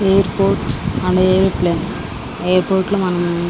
airport అంటే aeroplane airport లో మనం --